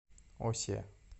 осе